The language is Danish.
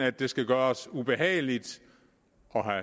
at det skal gøres ubehageligt